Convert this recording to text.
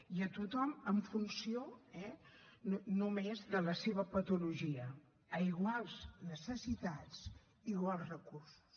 i a tothom en funció només de la seva patologia a iguals necessitats iguals recursos